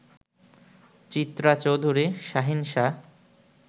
Chitra Chowdhury, Shahin Shah